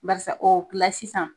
Baarisa o sisan.